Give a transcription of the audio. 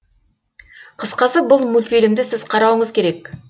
қысқасы бұл мультфильмді сіз қарауыңыз керек